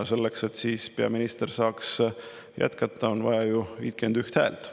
Selleks, et peaminister saaks jätkata, on vaja 51 häält.